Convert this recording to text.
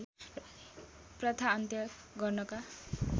प्रथा अन्त्य गर्नका